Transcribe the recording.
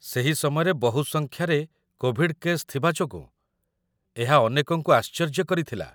ସେହି ସମୟରେ ବହୁ ସଂଖ୍ୟାରେ କୋଭିଡ କେସ୍ ଥିବା ଯୋଗୁଁ ଏହା ଅନେକଙ୍କୁ ଆଶ୍ଚର୍ଯ୍ୟ କରିଥିଲା